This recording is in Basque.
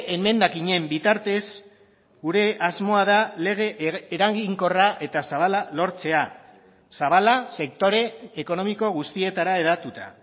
emendakinen bitartez gure asmoa da lege eraginkorra eta zabala lortzea zabala sektore ekonomiko guztietara hedatuta